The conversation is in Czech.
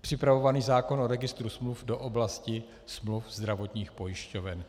připravovaný zákon o registru smluv do oblasti smluv zdravotních pojišťoven.